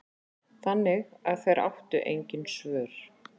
Þannig að þeir áttu engin svör.